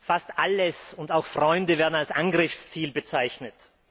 Fast alle und auch Freunde werden als Angriffsziel bezeichnet.